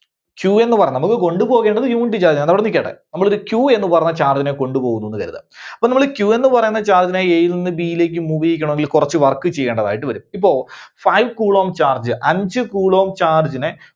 Q ന്ന് പറഞ്ഞ നമ്മൾക്ക് കൊണ്ടുപോകേണ്ടത് unit charge നെയാണ്. അതവിടെ നിക്കട്ടെ. നമ്മളൊരു Q എന്ന് പറഞ്ഞ charge നെ കൊണ്ടുപോകുന്നു എന്ന് കരുതുക. അപ്പോൾ നമ്മള് ഈ Q എന്ന് പറയുന്ന charge നെ A യിൽ നിന്ന് B യിലേക്ക് move ചെയ്യിക്കണമെങ്കില് കുറച്ച് Work ചെയ്യേണ്ടതായിട്ടു വരും. ഇപ്പൊ five coulomb charge, അഞ്ച് coulomb charge നെ